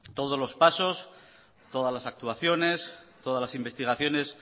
todos los pasos todas las actuaciones todas las investigaciones